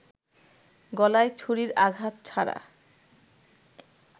গলায় ছুরির আঘাত ছাড়া